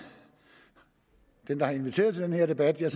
den der har inviteret til den her debat jeg